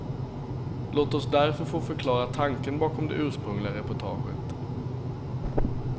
Låt oss därför få förklara tanken bakom det ursprungliga reportaget.